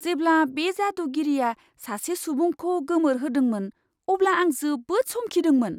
जेब्ला बे जादुगिरिआ सासे सुबुंखौ गोमोरहोदोंमोन, अब्ला आं जोबोद समखिदोंमोन!